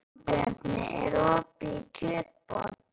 Jónbjarni, er opið í Kjötborg?